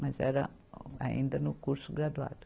Mas era ainda no curso graduado.